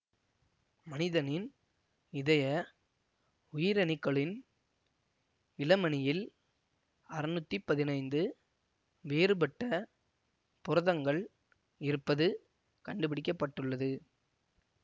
மனிதனின் இதய உயிரணுக்களின் இழமணியில் அறுநூத்தி பதினைந்து வேறுபட்ட புரதங்கள் இருப்பது கண்டுபிடிக்க பட்டுள்ளது